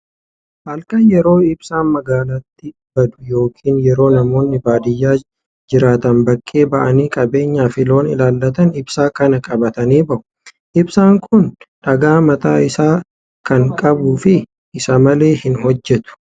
Halkan yeroo ibsaan magaalaatii baddu yookiin yeroo namoonni baadiyaa jiraatan bakkee ba'anii qabeenyaa fi loon ilaallatan ibsaa kana qabatanii bahu. Ibsaan kun dhagaa mataa isaa kan qabuu fi isa malee hin hojjetu.